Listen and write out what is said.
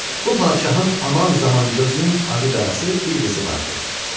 Bu padşahın aman zaman gözünün ağı-qarası bir qızı vardı.